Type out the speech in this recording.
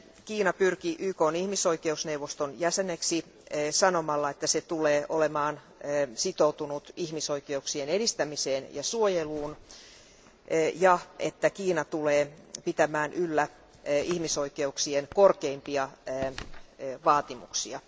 Kiina pyrki YKn ihmisoikeusneuvoston jäseneksi sanomalla, että se tulee olemaan sitoutunut ihmisoikeuksien edistämiseen ja suojeluun ja että Kiina tulee pitämään yllä ihmisoikeuksien korkeimpia vaatimuksia.